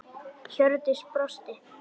Hjördís brosti.